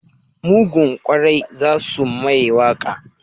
Mugun kwari za su mamaye wake.